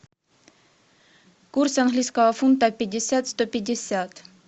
курс английского фунта пятьдесят сто пятьдесят